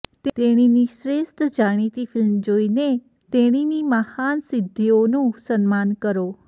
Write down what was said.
તેણીને શ્રેષ્ઠ જાણીતી ફિલ્મ જોઈને તેણીની મહાન સિદ્ધિઓનું સન્માન કરો